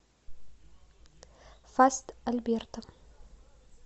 фаст альберто